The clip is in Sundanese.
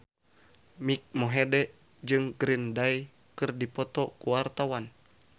Mike Mohede jeung Green Day keur dipoto ku wartawan